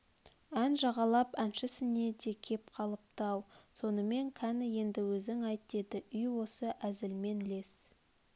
ән жағалап әншісіне де кеп қалыпты-ау сонымен кәні енді өзің айт деді үй осы әзілмен лес